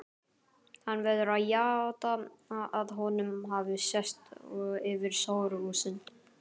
Hann verður að játa að honum hafi sést yfir hóruhúsin.